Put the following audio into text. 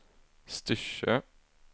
Styrsö